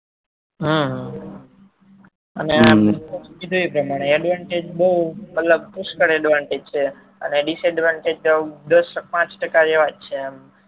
હા અને કીધું એ પ્રમાણે advantages બહુ મતલબ પુસ્કર advantages છે અને disadvantages એ દસ થી પાંચ ટકા છે આમ